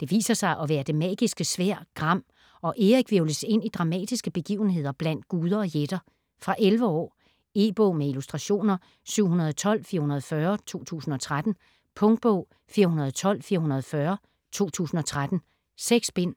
Det viser sig at være det magiske sværd GRAM, og Erik hvirvles ind i dramatiske begivenheder blandt guder og jætter. Fra 11 år. E-bog med illustrationer 712440 2013. Punktbog 412440 2013. 6 bind.